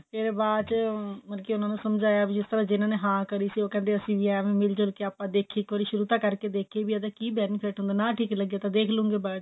ਫੇਰ ਬਾਅਦ ਚ ਮਤਲਬ ਕਿ ਉਹਨਾਂ ਨੂੰ ਸਮਝਾਇਆ ਵੀ ਜਿਸ ਤਰ੍ਹਾਂ ਜਿੰਨਾ ਨੇ ਹਾਂ ਕਰੀ ਸੀ ਉਹ ਕਹਿੰਦੇ ਅਸੀਂ ਵੀ ਐਵੇਂ ਮਿਲਜੁਲ ਕੇ ਆਪਾਂ ਦੇਖੀਏ ਇੱਕ ਵਾਰ ਸ਼ੁਰੂ ਤਾਂ ਕਰਕੇ ਦੇਖੀਏ ਵੀ ਇਹਦਾ ਕਿ benefit ਹੁੰਦਾ ਨਾ ਠੀਕ ਲੱਗੇ ਤਾਂ ਦੇਖ ਲੂੰਗੀ ਬਾਅਦ ਚ